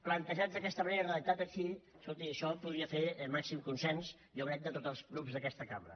plantejats d’aquesta manera i redactat així escolti això podria fer màxim consens jo crec de tots els grups d’aquesta cambra